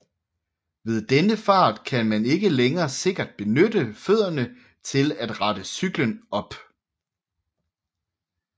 Ved denne fart kan man ikke længere sikkert benytte fødderne til at rette cyklen op